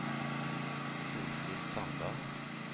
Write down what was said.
Solfrid Sandal